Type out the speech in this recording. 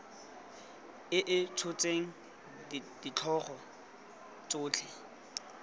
e e tshotseng ditlhogo tsotlhe